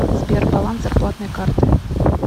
сбер баланс зарплатной карты